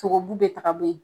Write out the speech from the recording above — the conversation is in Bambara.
Sogobu be ta ka bɔ yen.